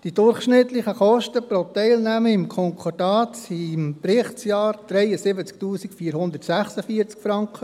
Die durchschnittlichen Kosten pro Teilnehmer am Konkordat betrugen im Berichtsjahr 73 446 Franken.